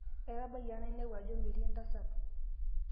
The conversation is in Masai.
atabayie ang' nainepu ajo metii entasat